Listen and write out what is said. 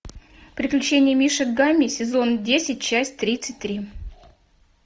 приключения мишек гамми сезон десять часть тридцать три